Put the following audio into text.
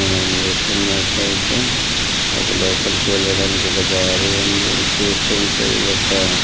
మనం చూస్తున్నట్టైతే ఇది లోపలకి వెళ్ళడానికి ఒక దారి ఉంది. చూస్తుంటే ఇది ఒక --